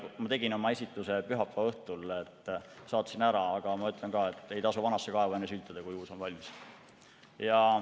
Ma tegin oma esitluse pühapäeva õhtul ja saatsin ära, aga ma ütlen ka, et ei tasu vanasse kaevu enne sülitada, kui uus valmis.